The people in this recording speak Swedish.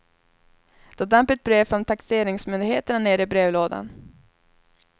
Då damp ett brev från taxeringsmyndigheterna ner i brevlådan.